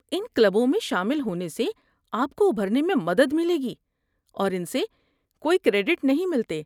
ان کلبوں میں شامل ہونے سے آپ کو ابھرنے میں مدد ملے گی، اور ان سے کوئی کریڈٹ نہیں ملتے۔